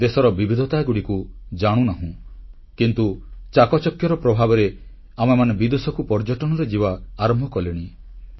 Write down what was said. ଦେଶର ବିବିଧତାଗୁଡ଼ିକୁ ଜାଣୁନାହୁଁ କିନ୍ତୁ ଚାକଚକ୍ୟର ପ୍ରଭାବରେ ଆମେମାନେ ବିଦେଶକୁ ପର୍ଯ୍ୟଟନରେ ଯିବା ଆରମ୍ଭ କଲେଣି